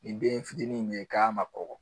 Ni den fitinin min ye k'a ma kɔgɔ